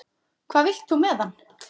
Hvað vilt þú með hann?